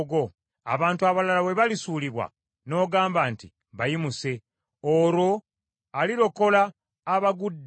Abantu abalala bwe balisuulibwa n’ogamba nti, ‘Bayimuse!’ Olwo alirokola abagudde.